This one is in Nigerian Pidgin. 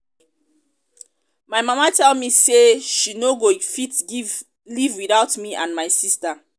my mama tell me say she no go fit live without me and my sister